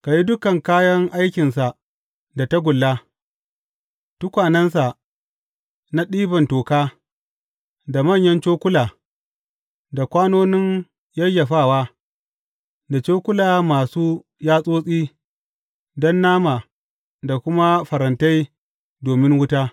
Ka yi duk kayan aikinsa da tagulla, tukwanensa na ɗiban toka, da manyan cokula, da kwanonin yayyafawa, da cokula masu yatsotsi don nama da kuma farantai domin wuta.